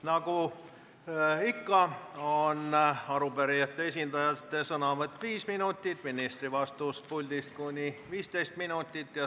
Nagu ikka, on arupärijate esindaja sõnavõtt 5 minutit ja ministri vastus puldist kuni 15 minutit.